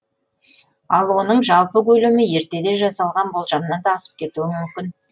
ал оның жалпы көлемі ертеде жасалған болжамнан да асып кетуі мүмкін